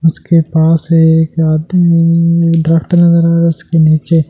जिसके पास एक आदि ये दरक्‍त नजर आ रहा है उसके नीचे एक आदमी --